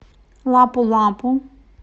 лапу лапу